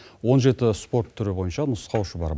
он жеті спорт түрі бойынша нұсқаушы бар